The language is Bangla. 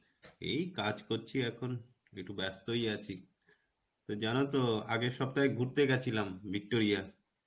এই কাজ করছি এখন. একটু ব্যস্তই আছি. তা জানতো আগের সপ্তাহে ঘুরতে গেছিলাম, Victoria.